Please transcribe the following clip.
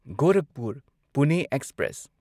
Gorakhpur Pune express